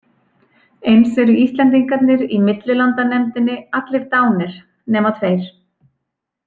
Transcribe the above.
Eins eru Íslendingarnir í millilandanefndinni allir dánir nema tveir.